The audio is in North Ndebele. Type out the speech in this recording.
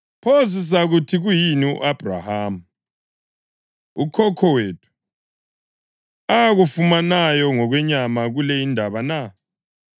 Pho sizakuthi kuyini u-Abhrahama, ukhokho wethu, akufumanayo ngokwenyama kule indaba na?